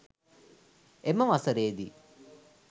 එම වසරේ දී